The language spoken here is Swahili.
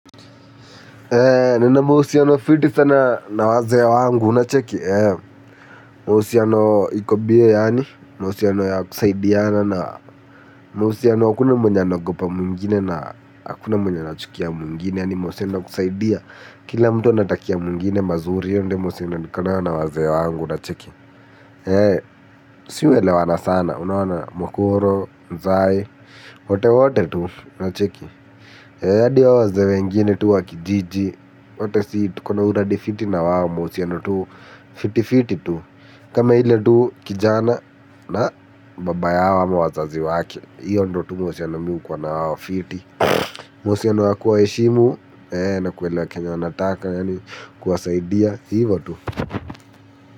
Nina mahusiano fiti sana na wazee wangu unacheki. Mahusiano iko biye yaani, mahusiano ya kusaidiana na mahusiano hakuna mwenye anaogopa mwingine na hakuna mwenye anachukia mwingine, yaani mahusiano ya kusaidia. Kila mtu anatakia mwingine mazuri hiyo ndio mahusiano niko nayo na wazee wangu unacheki. Sisi huelewana sana unaona mkoro, mzae, wote wote tu unacheki hadi wazee wengine tu wa kijiji wote sisi tuko na uradi fiti na wao mahusiano tu fiti fiti tu. Kama ile tu kijana na baba yao ama wazazi wake hiyo ndio tu mahusiano mimi huwa na wao fiti. Mahusiano ya kuwa heshimu na kuelewa kenye wanataka yani kuwasaidia hivo tu.